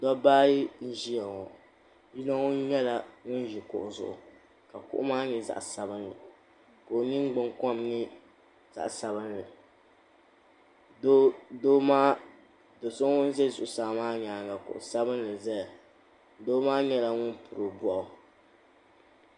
Dobba ayi n-ʒiya ŋɔ yino nyɛla ŋun ʒi kuɣu zuɣu ka kuɣu maa nyɛ zaɣ'sabinli ka o ningbunkom nyɛ zaɣ'sabinli do'so ŋun ʒe zuɣusaa maa nyaaŋa kuɣu sabinli zaya doo maa nyɛla ŋun piri o bɔɣu.